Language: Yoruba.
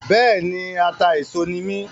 Bẹ́ẹ̀ni, atà-éso ni mí